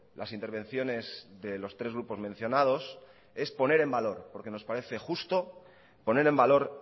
las intervenciones de los tres grupos mencionados es poner en valor porque nos parece justo poner en valor